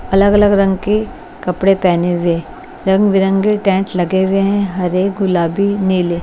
अलग अलग रंग के कपड़े पहने हुए रंग बिरंगे टेंट लगे हुए हैं हरे गुलाबी नीले--